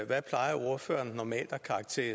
se